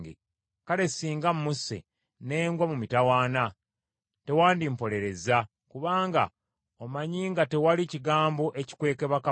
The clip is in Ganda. Kale singa mmusse ne ngwa mu mitawaana, tewandimpolerezza, kubanga omanyi nga tewali kigambo ekikwekebwa kabaka.”